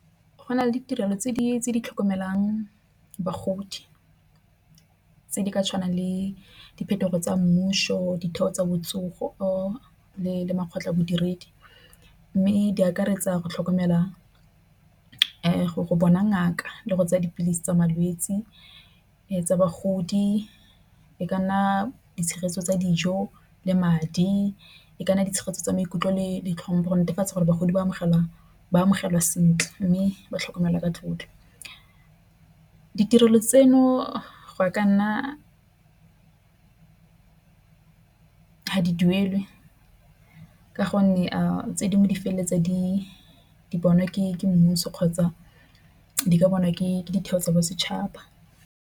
Go na le ditirelo tse di tlhokomelang bagodi tse di tshwanang le diphetogo tsa mmuso, ditheo tsa botsogo or le le makgotla modiredi mme di akaretsa go tlhokomela go bona ngaka le go tsaya dipilisi tsa malwetsi tsa bagodi. E ka nna ditshegetso tsa dijo le madi, e ka nna di tshegetso ya maikutlo le ditlhopa. Go netefatsa gore bagodi ba amogela ba amogelwa sentle mme ba tlhokomelwa ka tlotlo. Ditirelo tseno go ya ka nna a di duelwe ka gonne tse dingwe di feleletsa di bonwa ke mmuso kgotsa di ka bona ditheo tsa bosetšhaba.